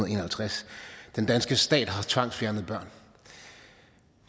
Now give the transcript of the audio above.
en og halvtreds den danske stat har tvangsfjernet børn